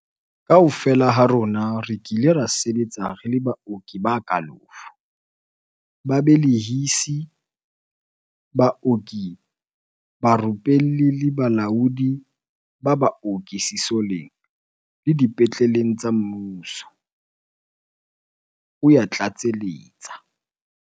"Kaofela ha rona re kile ra sebetsa re le baoki ba kalafo, babe lehisi, baoki barupelli le balaodi ba baoki sesoleng le dipetle leng tsa mmuso," o ya tlatseletsa.